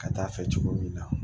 Ka taa fɛ cogo min na